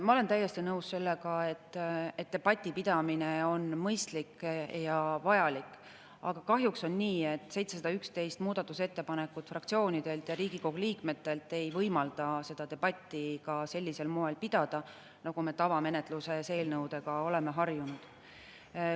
Ma olen täiesti nõus sellega, et debati pidamine on mõistlik ja vajalik, aga kahjuks on nii, et 711 muudatusettepanekut fraktsioonidelt ja Riigikogu liikmetelt ei võimalda pidada seda debatti sellisel moel, nagu me tavamenetluses eelnõude puhul oleme harjunud.